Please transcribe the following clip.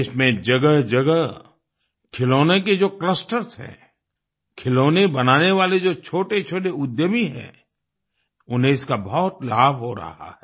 देश में जगहजगह खिलौनों के जो क्लस्टर्स हैं खिलौने बनाने वाले जो छोटेछोटे उद्यमी हैं उन्हें इसका बहुत लाभ हो रहा है